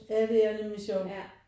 Ja det er nemlig sjovt